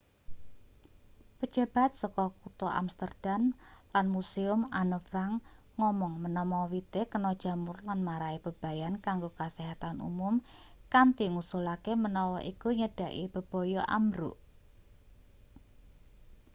pejabat saka kutha amsterdam lan museum anne frank ngomong menawa wite kena jamur lan marai bebayan kanggo kasehatan umum kanthi ngusulake menawa iku nyedhaki bebaya ambruk